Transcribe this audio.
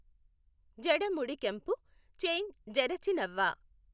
జడముడికెంపు చేఁ జఱచి నవ్వ